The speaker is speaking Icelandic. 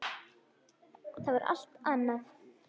Það var allt annað.